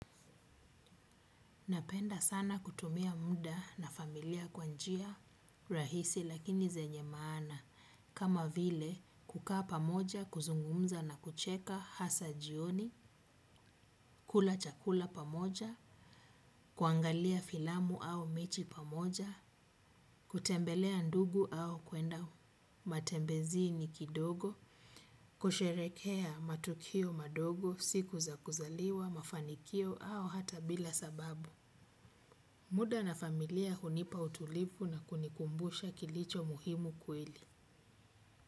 Napenda sana kutumia muda na familia kwa njia, rahisi lakini zenye maana, kama vile kukaa pamoja, kuzungumza na kucheka hasa jioni, kula chakula pamoja, kuangalia filamu au mechi pamoja, kutembelea ndugu au kuenda matembezini kidogo, kusherehekea matukio madogo, siku za kuzaliwa, mafanikio au hata bila sababu. Muda na familia hunipa utulivu na kunikumbusha kilicho muhimu kweli.